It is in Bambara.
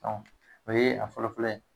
dɔnku o ye a fɔlɔ fɔlɔ ye